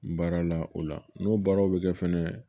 Baara la o la n'o baaraw bɛ kɛ fɛnɛ